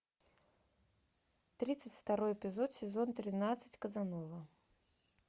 тридцать второй эпизод сезон тринадцать казанова